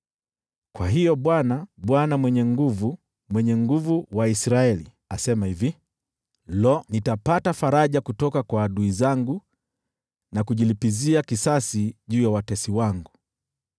Kwa hiyo Bwana, Bwana Mwenye Nguvu Zote, Mwenye Nguvu wa Israeli, asema hivi: “Lo, nitapata faraja kutoka kwa adui zangu na kujilipizia kisasi juu ya watesi wangu.